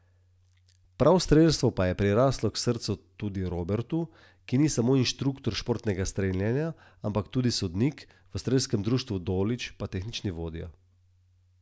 Medtem ko je višje sodišče za trinajst obtoženih s prvoobtoženim Draganom Tošićem na čelu oprostilno sodbo razveljavilo, je kazni štirim na prvi stopnji obsojenim zelo zvišalo.